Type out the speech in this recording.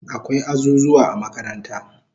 Akwai azuzuwa a makaranta